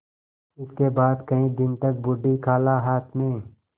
इसके बाद कई दिन तक बूढ़ी खाला हाथ में